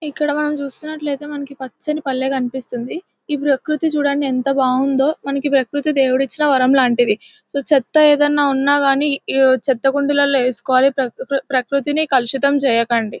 ఇక్కడ మనం చూస్తున్నట్లైతే మనకి పచ్చని పల్లె కన్పిస్తుంది ఈ ప్రకృతి చుడండి ఎంత బాగుందో మనకి ప్రకృతి దేవుడిచ్చిన వరం లాంటిది సో చేత ఏదైనా ఉన్నాగాని చెత్తకుండీలూ వేసుకోవాలి ప్రకృతిని కలుషితం చేయకండి.